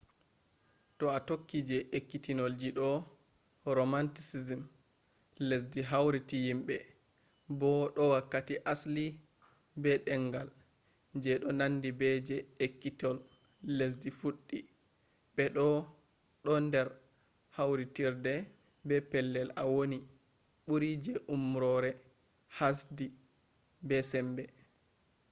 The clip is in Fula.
to a tokki je ekkitolji do romanticism lesdi hautiri yimɓe bo do wakkati asli be ɗengal je ɗo nandi be je ekkitol lesdi fuɗɗi be bo ɗo nder kawtirde be pellel a woni ɓuri je umrore hasdi be sembe